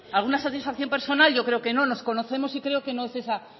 alguna satisfacción personal yo creo que no nos conocemos y creo que no es ese